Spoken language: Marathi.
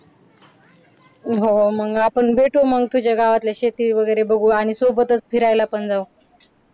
हो मग आपण भेटू मग तुझ्या गावातल्या शेती वगैरे बघू आणि सोबतच फिरायला पण जाऊ.